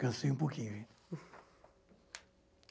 Cansei um pouquinho, gente.